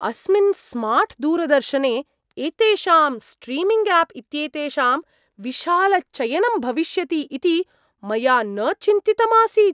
अस्मिन् स्मार्ट् दूरदर्शने एतेषां स्ट्रीमिङ्ग् आप् इत्येतेषां विशालचयनं भविष्यति इति मया न चिन्तितमासीत्!